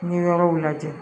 N ye yɔrɔw lajɛ